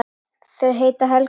Þau heita Helga og